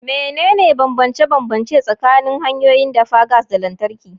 Menene bambance-bambance tsakanin hanyoyin dafa gas da lantarki?